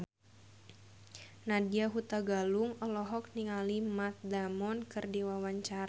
Nadya Hutagalung olohok ningali Matt Damon keur diwawancara